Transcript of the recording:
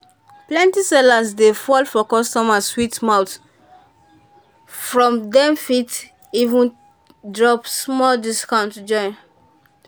plenty sellers dey fall for customers sweet mouth sweet mouth from dem fit even drop small discount join.